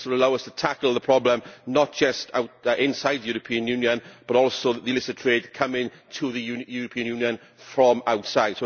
This will allow us to tackle the problem not just inside the European Union but also the illicit trade coming to the European Union from outside.